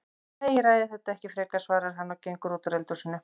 Nei, ég ræði þetta ekki frekar, svarar hann og gengur út úr eldhúsinu.